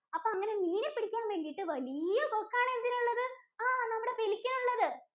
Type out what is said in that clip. അപ്പോ, അങ്ങിനെ മീനെ പിടിക്കാന്‍ വേണ്ടിട്ട് വലിയ കൊക്കാണ് എന്തിനുള്ളത്? ആഹ് നമ്മുടെ Pelican നുള്ളത്.